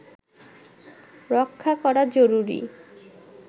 রক্ষা করা জরুরি